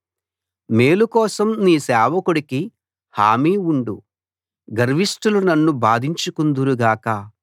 మేలు కోసం నీ సేవకుడికి హామీ ఉండు గర్విష్ఠులు నన్ను బాధించకుందురు గాక